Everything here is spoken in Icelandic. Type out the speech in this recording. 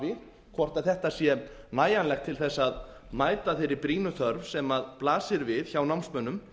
fjárframlög hafi hvort þetta sé nægjanlegt til að mæta þeirri brýnu þörf sem blasir við hjá námsmönnum